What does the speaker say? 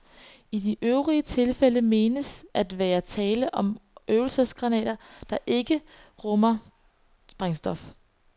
I de øvrige tilfælde menes at være tale om øvelsesgranater, der normalt ikke rummer sprængstof.